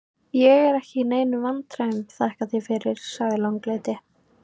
Ég er ekki í neinum vandræðum, þakka þér fyrir, sagði sá langleiti.